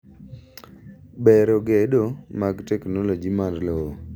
Bero gedo mag teknoloji mar lowo.